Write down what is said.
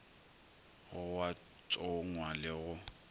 go a tsongwa le go